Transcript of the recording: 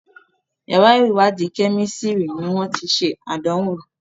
yàrá iwadi Kẹ́mísìrì ní wón tí ṣe Àdánwò.